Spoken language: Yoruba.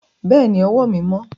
Bẹ́ẹ̀ ni, ọwọ́ mi mọ́.